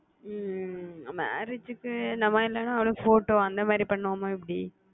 ஹம் marriage க்கு நம்ம என்னனா அவளுக்கு pohto அந்த மாதிரி பண்ணுவோமா எப்பிடி